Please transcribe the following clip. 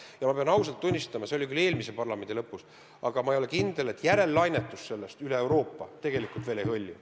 Ja ma pean ausalt tunnistama: see oli küll eelmise parlamendikoosseisu lõpus, aga ma ei ole kindel, et selle järellainetus enam üle Euroopa ei hõlju.